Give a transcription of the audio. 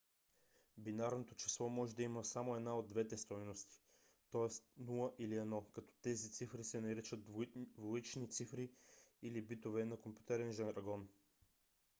бинарното число може да има само една от две стойности т.е. 0 или 1 като тези цифри се наричат двоични цифри - или битове на компютърен жаргон